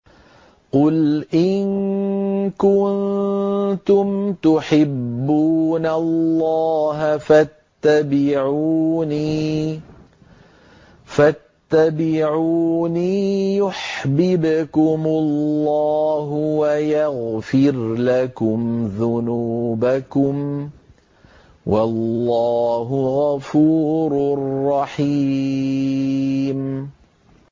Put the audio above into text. قُلْ إِن كُنتُمْ تُحِبُّونَ اللَّهَ فَاتَّبِعُونِي يُحْبِبْكُمُ اللَّهُ وَيَغْفِرْ لَكُمْ ذُنُوبَكُمْ ۗ وَاللَّهُ غَفُورٌ رَّحِيمٌ